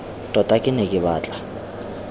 tota ke ne ke batla